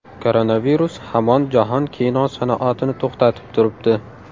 Koronavirus hamon jahon kino sanoatini to‘xtatib turibdi.